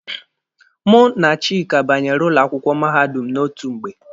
Mụ na Chika banyere ụlọ akwụkwọ mahadum n'otu mgbe.